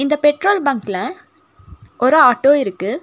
இந்த பெட்ரோல் பங்குல ஒரு ஆட்டோ இற்க்கு.